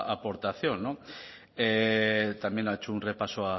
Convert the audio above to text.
aportación no también ha hecho un repaso